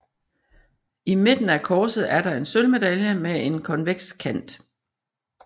I midten af korset er der en sølvmedalje med en konveks kant